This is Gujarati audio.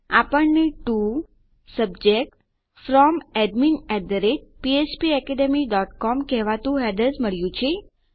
આપણને ટીઓ સબ્જેક્ટ Fromadminphpacademycom કહેતું હેડર્સ મળ્યું છે